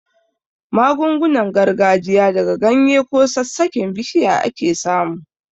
Magungunan gargajiya daga ganye ko sassaken bishiya ake samu.